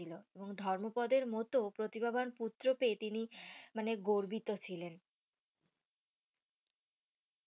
ছিল এবং ধর্মপদের মতো প্রতিবাভ্যান পুত্র পেয়ে তিনি মানে গর্বিত ছিলেন